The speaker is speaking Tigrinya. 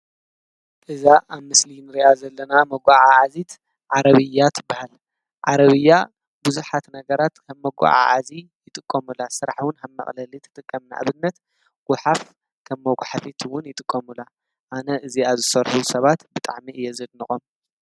እዛ ኣብ ምስልን ርኣ ዘለና መጕዓ ዓዚት ዓረቢያት በሃል ዓረቢያ ብዙኃት ነገራት ከብ መጕዓ ዓዚ ይጥቆሙላ ሥራሕዉን ሃብ መቕለሊት ጥቀምናዕብድነት ወኃፍ ከብ መጕሕፊትውን ይጥቆሙላ ኣነ እዚኣዝሠርኁቡ ሰባት ብጠዕሜ እየዘድንቖም።